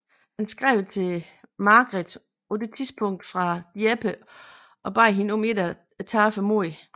Han skrev til Margret på det tidspunkt fra Dieppe og bad hende om ikke at tabe modet